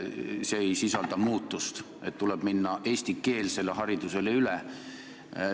See ei sisalda muudatust, et tuleb minna üle eestikeelsele haridusele.